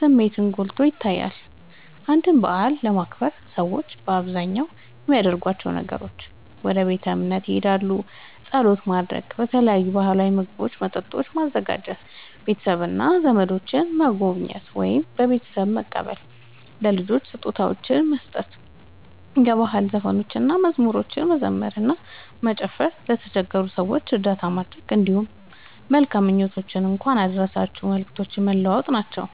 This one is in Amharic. ስሜትን ጎልቶ ይታያል። አንድን በዓል ለማክበር ሰዎች በአብዛኛው የሚያደርጓቸው ነገሮች፦ ወደ ቤተ እምነት ሄደው ጸሎት ማድረግ፣ የተለያዩ ባህላዊ ምግቦችና መጠጦችን ማዘጋጀ፣ ቤተሰብና ዘመዶችን መጎብኘት ወይም በቤታቸው መቀበል፣ ለልጆች ስጦታዎችን መስጠት፣ የባህል ዘፈኖችንና መዝሙሮችን መዘመር እና መጨፈር፣ ለተቸገሩ ሰዎች እርዳታ ማድረግ፣ እንዲሁም መልካም ምኞቶችንና የእንኳን አደረሳችሁ መልእክቶችን መለዋወጥ ናቸዉ።